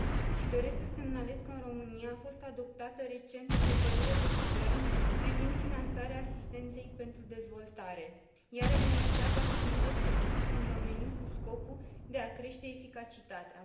Mai doresc să semnalez că în România a fost adoptată recent o hotărâre de guvern privind finanțarea asistenței pentru dezvoltare, care reglementează acțiunile specifice în domeniu cu scopul de a crește eficacitatea.